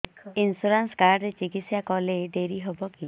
insurance card ରେ ଚିକିତ୍ସା କଲେ ଡେରି ହବକି